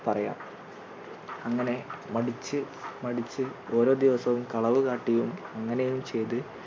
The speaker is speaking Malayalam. പറയാം അങ്ങനെ മടിച്ച് മടിച്ച് ഓരോ ദിവസവും കളവു കാട്ടിയും അങ്ങനെയും ചെയ്ത്